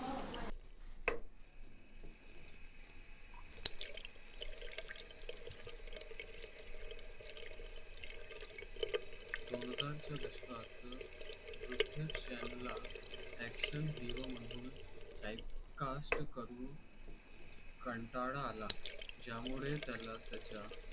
दोन हजार च्या दशकात त्यांच्या ला action hero म्हणून type caste करू. कंटाळा आला ज्यामुळे त्याला त्याच्या